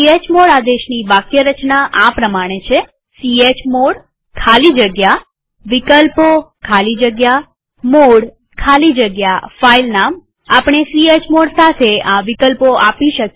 chmod આદેશની વાક્યરચના આ પ્રમાણે છે ચમોડ ખાલી જગ્યા વિકલ્પો ખાલી જગ્યા મોડે ખાલી જગ્યા ફાઈલનામ આપણે ચમોડ સાથે આ વિકલ્પો આપી શકીએ